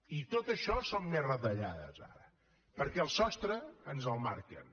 i tot això són més retallades ara perquè el sostre ens el marquen